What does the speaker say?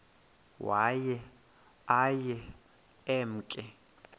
waye aye emke